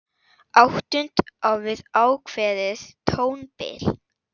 Áttund á við ákveðið tónbil.